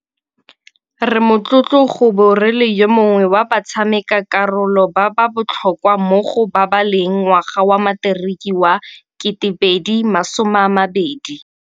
Re motlotlo go bo re le yo mongwe wa batshamekakarolo ba ba botlhokwa mo go babaleleng ngwaga wa Materiki wa 2020.